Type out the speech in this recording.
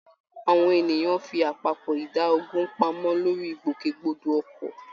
Àwọn ènìyàn fi àpapọ̀ ìdá ogún pamọ́ lórí ìgbòkègbodò ọkọ̀